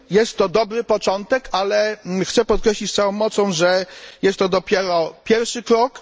Jest to dobry początek, ale chcę podkreślić z całą mocą, że jest to dopiero pierwszy krok.